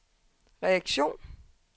reaktion